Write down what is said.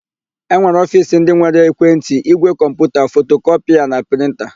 E nwere ofiisi ndị nwere ekwentị, ígwè kọmputa, fotokọpịa na prịnta.